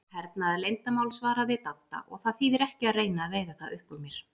Hernaðarleyndarmál svaraði Dadda, og það þýðir ekki að reyna að veiða það upp úr mér